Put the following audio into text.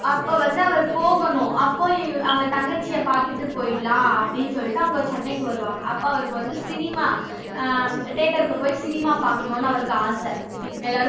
அப்ப வந்து அவர் போகணும் அப்ப இவ்~ அவங்க தங்கச்சிய பார்த்துட்டு போயிடலாம் அப்படின்னு சொல்லிட்டு சென்னைக்கு வருவாங்க அவருக்கு வந்து cinema அஹ் theatre க்கு போய் cinema பாக்கணும் அவருக்கு ஆசை எல்லாரும்